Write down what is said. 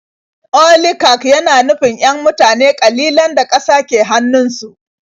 Oligak yana nufin 'yan mutane ƙalilan da ƙasa ke hannunsu.